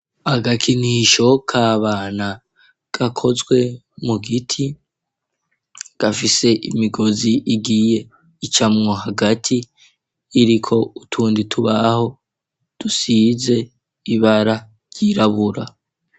Agakinisho ka bana gakozwe mu giti gafise imigozi igiye icamwo hagati iriko utundi tubaho dusize ibara ryirabura.